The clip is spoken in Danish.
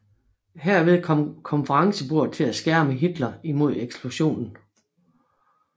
Herved kom konferencebordet til at skærme Hitler mod eksplosionen